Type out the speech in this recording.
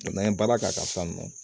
n'an ye baara k'a la sisan nɔ